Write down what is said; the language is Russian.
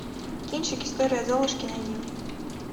кинчик история золушки найди